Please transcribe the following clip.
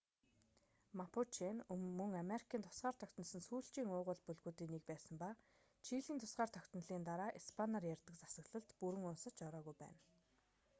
мапуче нь мөн америкийн тусгаар тогтносон сүүлчийн уугуул бүлгүүдийн нэг байсан ба чилийн тусгаар тогтнолын дараа испаниар ярьдаг засаглалд бүрэн уусаж ороогүй байна